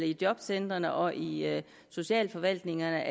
i jobcentrene og i socialforvaltningerne